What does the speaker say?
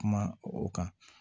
Kuma o kan